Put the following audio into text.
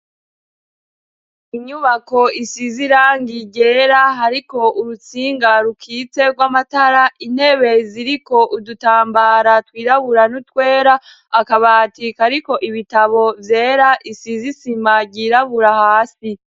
Inyubako isiz'irangi ryera , hariko urutsinga rukitse rw'amatara ,intebe ziriko udutambara twirabura n'utwera ,akabatika kariko ibitabo vyera isiz'isima ryirabura hasi.